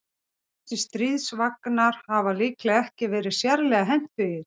Þessir stríðsvagnar hafa líklega ekki verið sérlega hentugir.